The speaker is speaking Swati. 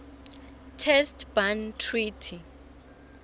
test ban treaty